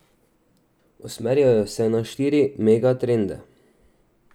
Usmerjajo se na štiri megatrende.